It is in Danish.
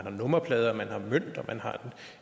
en nummerplade